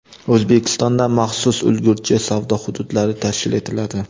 O‘zbekistonda maxsus ulgurji savdo hududlari tashkil etiladi.